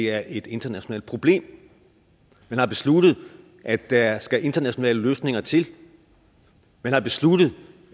er et internationalt problem man har besluttet at der skal internationale løsninger til man har besluttet